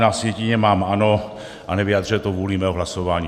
Na sjetině mám ano a nevyjadřuje to vůli mého hlasování.